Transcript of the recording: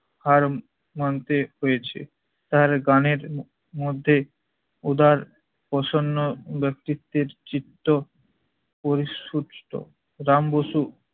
হার মানতে হয়েছে। তার গানের মধ্যে উদার প্রসন্ন ব্যক্তিত্বের চিত্ত পড়ি সুস্থ। রাম বসু